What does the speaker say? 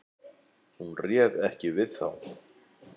Hún réð ekki við þá.